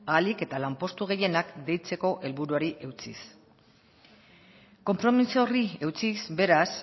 ahalik eta lanpostu gehienak deitzeko helburuari eutsiz konpromiso horri eutsiz beraz